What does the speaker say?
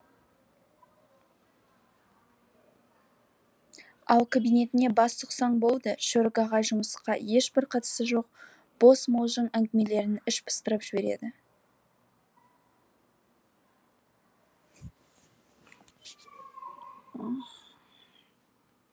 ал кабинетіне бас сұқсаң болды шөрік ағай жұмысқа ешбір қатысы жоқ бос мылжың әңгімелерімен іш пыстырып жібереді